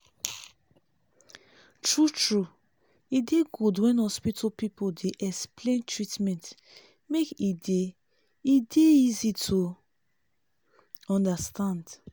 true true e dey good when hospital people dey explain treatment make e dey e dey easy to understand